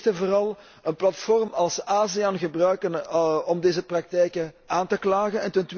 Wij moeten eerst en vooral een platform als ASEAN gebruiken om deze praktijken aan te klagen.